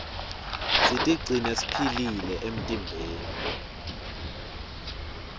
sitigcine siphilile emtimbeni